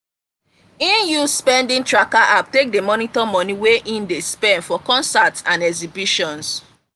e use spending tracker app take dey monitor money wey e dey spend for concerts and exhibitions.